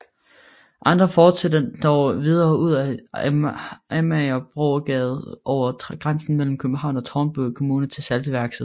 Andre fortsætter dog videre ud ad Amagerbrogade over grænsen mellem Københavns og Tårnby Kommuner til Saltværksvej